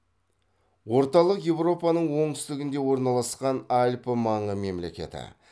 орталық еуропаның оңтүстігінде орналасқан альпі маңы мемлекеті